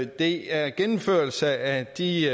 det er en gennemførelse af de